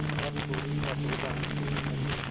भानुकुँवरि इन बातों को जानती न थी